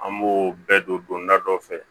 An b'o bɛɛ don da dɔ fɛ